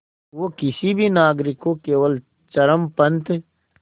वो किसी भी नागरिक को केवल चरमपंथ